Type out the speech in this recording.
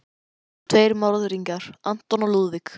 Hér eru tveir morðingjar, anton og Lúðvík.